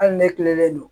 Hali ne tilenen don